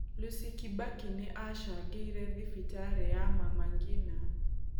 Lucy Kibaki nĩ acangeire thibitarĩ ya Mama Ngina.